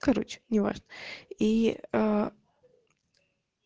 короче неважно ии аа